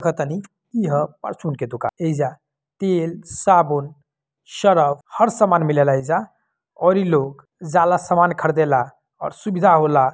देखा तानी इ ह फार्च्यून के दुकान ऐज तेल साबुन सर्फ हर सामान मीले ला ऐजा और इ लोग जला सामान खरीदे ला और सुभिधा होला--